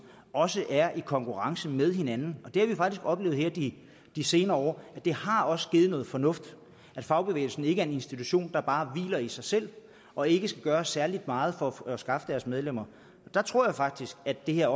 også er i konkurrence med hinanden og det har vi faktisk oplevet her de de senere år det har også givet noget fornuft at fagbevægelsen ikke er en institution der bare hviler i sig selv og ikke skal gøre særlig meget for at skaffe deres medlemmer der tror jeg faktisk at det her